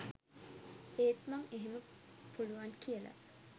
ඒත් මං එහෙම පුළුවන් කියලා